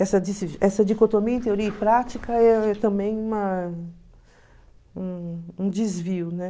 Essa dicotomia em teoria e prática é também uma... um um desvio, né?